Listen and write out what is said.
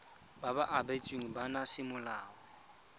ba ba abetsweng bana semolao